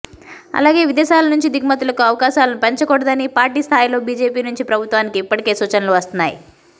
అలాగే విదేశాల నుంచి దిగుమతులకు అవకాశాలను పెంచకూడదని పార్టీ స్థాయిలో బిజెపి నుంచి ప్రభుత్వానికి ఇప్పటికే సూచనలు వస్తున్నాయి